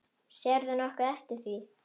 Sérðu nokkuð eftir því?